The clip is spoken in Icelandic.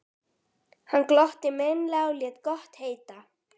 Hann glotti meinlega og lét gott heita.